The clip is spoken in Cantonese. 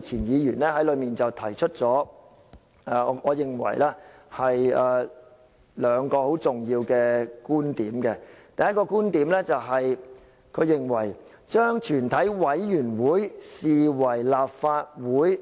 前議員吳靄儀提出兩個我認為很重要的觀點，第一個觀點是她認為"將全體委員會視為立法會